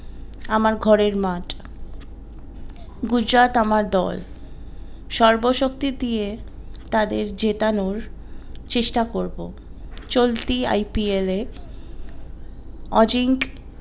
আমার ঘরের মাঠ গুজরাট আমার দল সর্ব শক্তি দিয়ে তাদের জেতানোর চেষ্টা করবো চলতি IPL এ অজিঙ্ক